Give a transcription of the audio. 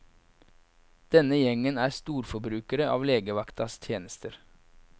Denne gjengen er storforbrukere av legevaktas tjenester.